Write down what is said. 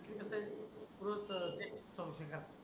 कस हाय कृष्ठ ते संशोघ्या